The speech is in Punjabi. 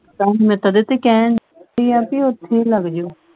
ਤੁਹਾਨੂੰ ਮੈਂ ਕਦੇ ਤੇ ਕਹਿਣ ਢਈ ਆ ਬਈ ਓਥੇ ਲੱਗ ਜਾਊ।